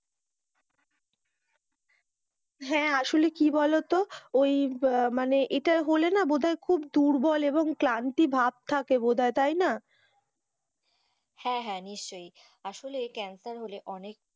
হ্যাঁ, আসলে কি বলতো ওই মানে এটা হলে মনে বোধ হয় খুব দুর্বল এবং ক্লান্তি ভাব থাকে বোধ হয় থাকে তাই না! হ্যাঁ, নিশ্চই আসলে ক্যান্সার হলে অনেক।